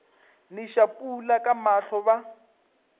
neša pula ka mahlo ba